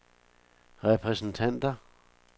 repræsentanter